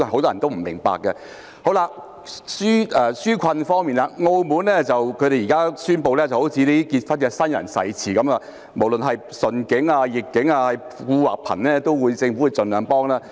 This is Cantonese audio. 至於紓困方面，澳門現時宣布——好像新人的結婚誓詞一樣——無論順境或逆境，富或貧，政府都會盡量幫忙。